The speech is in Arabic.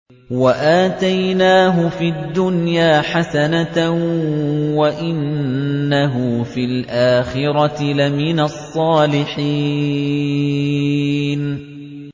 وَآتَيْنَاهُ فِي الدُّنْيَا حَسَنَةً ۖ وَإِنَّهُ فِي الْآخِرَةِ لَمِنَ الصَّالِحِينَ